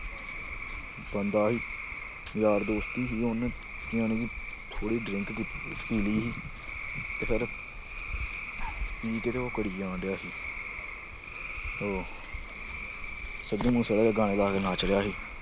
ਯਾਰ ਦੋਸਤ ਹੀ ਸੀ ਉਹਨੇ ਜਾਣੀ ਕਿ ਥੋੜ੍ਹੀ drink ਕੀਤੀ ਪੀਲੀ ਸੀ ਤੇ ਫਿਰ ਪੀ ਕੇ ਤੇ ਉਹ ਕਰੀ ਜਾਣਡਿਆ ਸੀ ਉਹ ਸਿੱਧੂ ਮੂਸੇਵਾਲੇ ਦੇ ਗਾਣੇ ਲਾ ਕੇ ਨੱਚ ਰਿਹਾ ਸੀ।